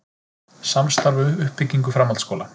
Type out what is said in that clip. Samstarf um uppbyggingu framhaldsskóla